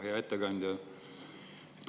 Hea ettekandja!